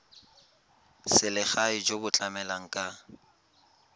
selegae jo bo tlamelang ka